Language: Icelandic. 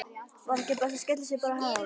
Var ekki best að skella sér bara á Hæ?